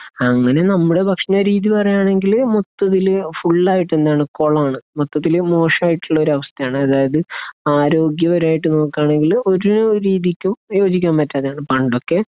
അങ്ങനെ നമ്മുടെ ഭക്ഷണരീതീന്നു പറയുകയാണെങ്കില് മൊത്തത്തിൽ ഫുള്ളായിട്ട് എന്താണ് കൊളാണ്. മൊത്തത്തിൽ മോശമായിട്ടുള്ള ഒരവസ്ഥയാണ്. അതായത് ആരോഗ്യപരമായിട്ട് നോക്കുകയാണെങ്കിൽ ഒരു രീതിക്കും യോജിക്കാൻ പറ്റാത്തതാണ്. പണ്ടൊക്കെ